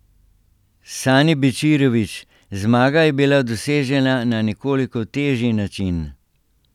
Sani Bečirovič: "Zmaga je bila dosežena na nekoliko težji način.